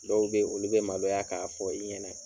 Dɔw be ye, olu be maloya k'a fɔ i ɲɛnɛ